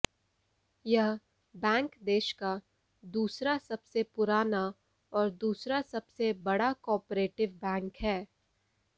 यह बैंक देश का दूसरा सबसे पुराना और दूसरा सबसे बड़ा कॉपरेटिव बैंक है